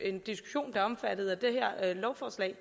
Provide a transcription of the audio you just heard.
en diskussion der er omfattet af det her lovforslag